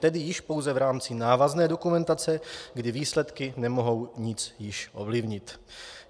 Tedy již pouze v rámci návazné dokumentace, kdy výsledky nemohou již nic ovlivnit.